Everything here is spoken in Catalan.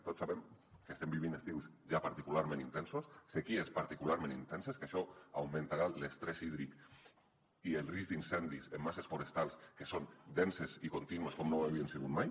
tots sabem que estem vivint estius ja particularment intensos sequeres particularment intenses que això augmentarà l’estrès hídric i el risc d’incendis en masses forestals que són denses i contínues com no ho havien sigut mai